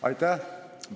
Aitäh!